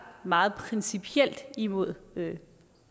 meget principielt imod